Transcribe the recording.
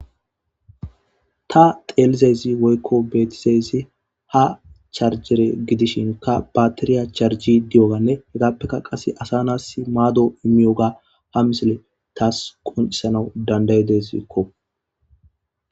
Ta xeelizayssi woykko beetizayssi ha charjjere gidishinkka baatiriya charjjidi diyogga, appekka qasse asa naatus maado immiyoga ha misile tas qonccisanas dandayideskko.